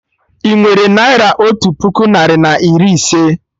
Inwere naira otu puku narị na iri ise?